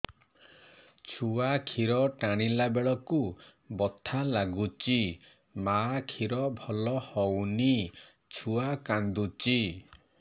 ଛୁଆ ଖିର ଟାଣିଲା ବେଳକୁ ବଥା ଲାଗୁଚି ମା ଖିର ଭଲ ହଉନି ଛୁଆ କାନ୍ଦୁଚି